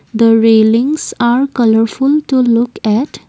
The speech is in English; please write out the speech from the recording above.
the railings are colourful to look at--.